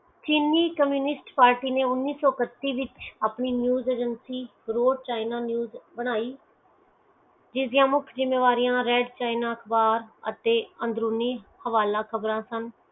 ਚੀਨੀ communist party ਨੈ ਉਣੀਸੋ ਕਤੀਸ ਵਿਚ ਆਪਣੀ ਚੀਜ਼ ਏਜੇਂਸੀ ਬ੍ਰਾਡ ਕਹਿਣਾ ਚੀਜ਼ ਬਨਾਇ ਜਿਸਦੀਆਂ ਮੁਖ ਜਿੰਮੇਵਾਰੀਆਂ ਰੇਡ ਕਹਿਣਾ ਅਖਬਾਰ ਅਤੇ ਅੰਦਰੂਨੀ ਹਵਾਲਾ ਖ਼ਬਰ ਸਨ